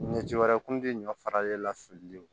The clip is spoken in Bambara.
Ɲɛji wɛrɛ kun ti ɲɔ faralen la fililen kɔ